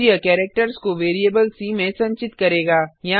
फिर यह कैरेक्टर्स को वेरिएबल सी में संचित करेगा